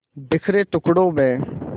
बिखरे टुकड़ों में